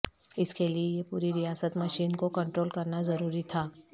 اس کے لئے یہ پوری ریاست مشین کو کنٹرول کرنا ضروری تھا